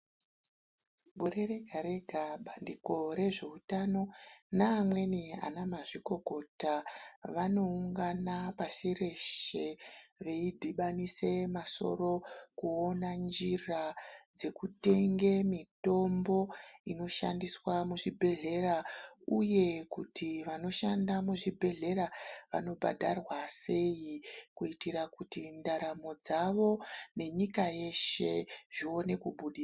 Gore rega rega bandiko rezveutano neamweni ana mazvikokota vanoungana pashi reshe veidhibanisa masoro kuona njira dzekutenge mitombo inoshandiswa muzvibhehlera uye kuti vanoshanda muzvibhehlera vanobhadharwa sei kuitira kuti ndaramo dzavo nenyika yeshe zvione kubudirira.